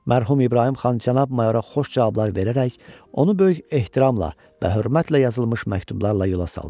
Mərhum İbrahim xan cənab mayora xoş cavablar verərək onu böyük ehtiramla və hörmətlə yazılmış məktublarla yola saldı.